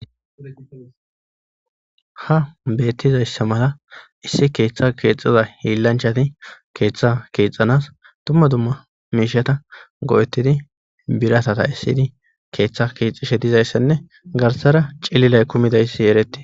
Ha beettizayssa mala issi keeththa keexxeza hiillanchati keeththa keexxanas tumma dumma miishata go'ettidi biratata issidi keeththa keexxishe dizayssenne garsara cillilay kumidaysi eretti